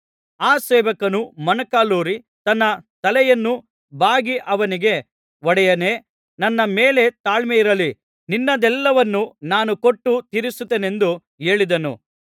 ಆ ಸೇವಕನು ಮೊಣಕಾಲೂರಿ ತನ್ನ ತಲೆಯನ್ನು ಬಾಗಿ ಅವನಿಗೆ ಒಡೆಯನೇ ನನ್ನ ಮೇಲೆ ತಾಳ್ಮೆಯಿರಲಿ ನಿನ್ನದೆಲ್ಲವನ್ನೂ ನಾನು ಕೊಟ್ಟು ತೀರಿಸುತ್ತೇನೆಂದು ಹೇಳಿದನು